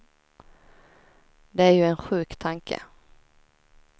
Det är ju en sjuk tanke.